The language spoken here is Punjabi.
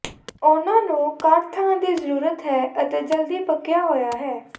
ਉਹਨਾਂ ਨੂੰ ਘੱਟ ਥਾਂ ਦੀ ਜ਼ਰੂਰਤ ਹੈ ਅਤੇ ਜਲਦੀ ਪੱਕਿਆ ਹੋਇਆ ਹੈ